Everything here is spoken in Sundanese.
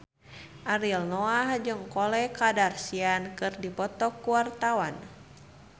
Ariel Noah jeung Khloe Kardashian keur dipoto ku wartawan